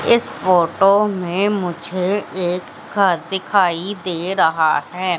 इस फोटो मे मुझे घर दिखाई दे रहा है।